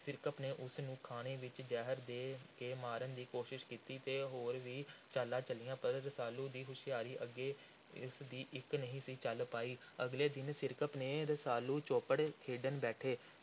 ਸਿਰਕੱਪ ਨੇ ਉਸ ਨੂੰ ਖਾਣੇ ਵਿਚ ਜ਼ਹਿਰ ਦੇ ਕੇ ਮਾਰਨ ਦੀ ਕੋਸ਼ਿਸ਼ ਕੀਤੀ ਅਤੇ ਹੋਰ ਵੀ ਚਾਲਾਂ ਚੱਲੀਆਂ ਪਰ ਰਸਾਲੂ ਦੀ ਹੁਸ਼ਿਆਰੀ ਅੱਗੇ ਉਸ ਦੀ ਇਕ ਨਹੀਂ ਸੀ ਚੱਲ ਪਾਈ। ਅਗਲੇ ਦਿਨ ਸਿਰਕੱਪ ਤੇ ਰਸਾਲੂ ਚੌਪੜ ਖੇਡਣ ਬੈਠੇ।